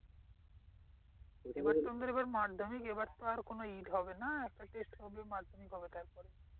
এবার তো আমাদের মাধ্যমিক এবার তো আর কোনো হবে না একটা test হবে মাধ্যমিক হবে তারপরে।